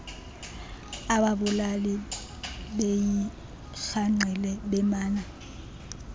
ababulali beyirhangqile bemana